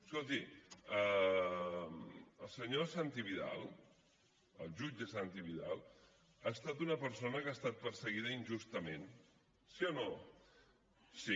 escolti el senyor santi vidal el jutge santi vidal ha estat una persona que ha estat perseguida injustament sí o no sí